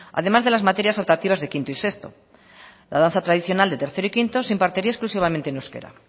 además de las materias optativas de quinto y sexto la danza tradicional de tercero y quinto se impartiría exclusivamente en euskera